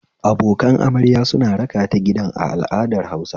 Abokan amarya suna rakata gidan a al'adar Hausa